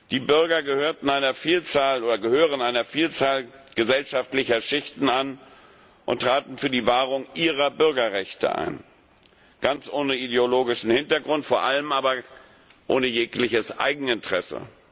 Die Bürger gehörten oder gehören einer Vielzahl gesellschaftlicher Schichen an und traten für die Wahrung ihrer Bürgerrechte ein, ganz ohne ideologischen Hintergrund, vor allem aber ohne jegliches Eigeninteresse.